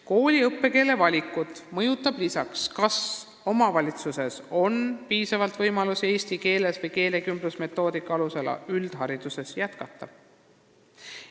Kooli õppekeele valikut mõjutab lisaks see, kas omavalitsuses on piisavalt võimalusi eesti keeles või keelekümblusmetoodika alusel üldharidusõpet jätkata.